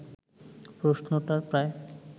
প্রশ্নটা প্রায়